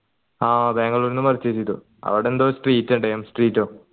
ആ ബാംഗ്ലൂരിന്നും purchase ചെയ്തു അവിടെന്തോ street street ഓ